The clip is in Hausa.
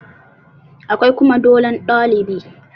Akwai kuma dolon ɗalibi